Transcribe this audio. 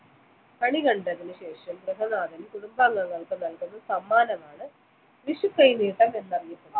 കണി കണ്ടതിനുശേഷം ഗൃഹനാഥൻ കുടുംബാംഗങ്ങൾക്ക് നൽകുന്ന സമ്മാനമാണ് വിഷുക്കൈനീട്ടം എന്നറിയപ്പെടുന്നത്